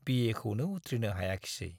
बिए खौनो उथ्रिनो हायाखिसै।